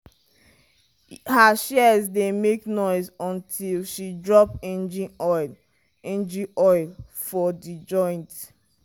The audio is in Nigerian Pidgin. her shears dey make noise until she drop engine oil engine oil for the joint.